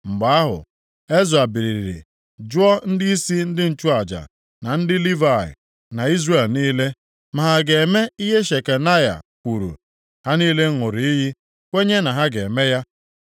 Mgbe ahụ, Ezra biliri jụọ ndịisi ndị nchụaja na ndị Livayị, na Izrel niile, ma ha ga-eme ihe Shekanaya kwuru. Ha niile ṅụrụ iyi kwenye na ha ga-eme ya.